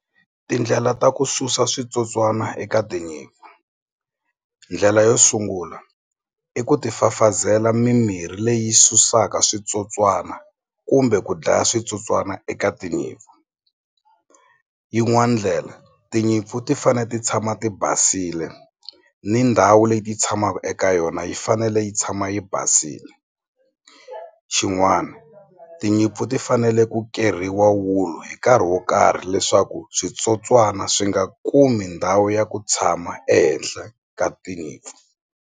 Tindlela ta ku susa switsotswana eka tinyimpfu, ndlela yo sungula i ku ti fafazela mimirhi leyi susaka switsotswana kumbe ku dlaya switsotswana eka tinyimpfu yin'wani ndlela tinyimpfu ti fane ti tshama ti basile ni ndhawu leyi ti tshamaka eka yona yi fanele yi tshama yi basile xin'wana tinyimpfu ti fanele ku keriwa wulu hi nkarhi wo karhi leswaku switsotswana swi nga kumi ndhawu ya ku tshama ehenhla ka tinyimpfu.